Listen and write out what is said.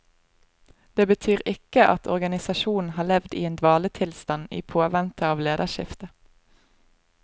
Det betyr ikke at organisasjonen har levd i en dvaletilstand i påvente av lederskifte.